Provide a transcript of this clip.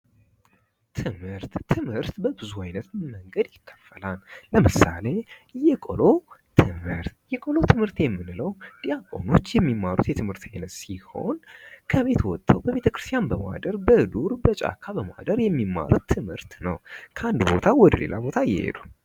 ትምህርት ትምህርት በብዙ አይነት መንገድ ይከፈላል። ለምሳሌ የቆሎ ትምህርት የቆሎ ትምህርት የምንለው ዲያቆኖች የሚማሩት የትምህርት አይነት ሲሆን ከቤት ወጥተው በቤተ ክርስትያን በማደር በዱር በጫካ በማደር የሚማሩት ትምህርት ነው ከአንድ ቦታ ወደ ሌላ ቦታ እየሄዱ።